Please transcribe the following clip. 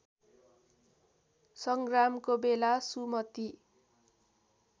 सङ्ग्रामको बेला सुमति